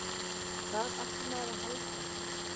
Hvað átti maður að halda?